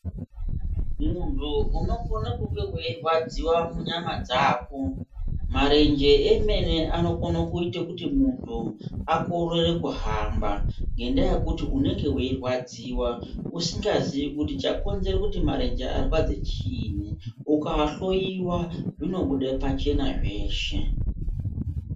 Muntu unokone kunge weirwadziwa munyama dzako. Marenje emene anokone kuite kuti munhu akorere kuhamba, ngendaa yekuti unenge weirwadziwa, usikaziyi kuti chakonzere kuti marenje arwadze chiini. Ukaahloiwa, zvinobude pachena zveshe.